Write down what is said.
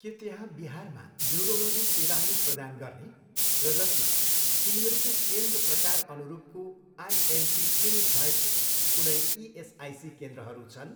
के त्यहाँ बिहारमा न्युरोलोजी सेवाहरू प्रदान गर्ने र जसमा तिनीहरूको केन्द्र प्रकार अनुरूपको आइएमपी क्लिनिक भएको कुनै इएसआइसी केन्द्रहरू छन्?